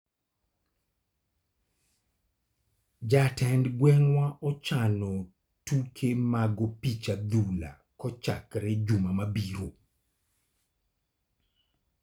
Jatend gweng'wa ochano tuke mag opich adhula kochakore juma mabiro.